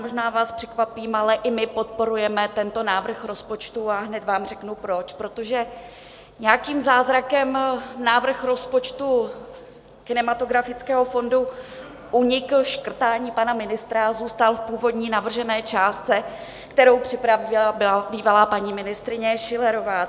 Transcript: Možná vás překvapím, ale i my podporujeme tento návrh rozpočtu, a hned vám řeknu proč: protože nějakým zázrakem návrh rozpočtu kinematografického fondu unikl škrtání pana ministra a zůstal v původní navržené částce, kterou připravila bývalá paní ministryně Schillerová.